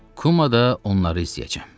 Kumada onları izləyəcəyəm.